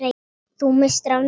Þú misstir af miklu!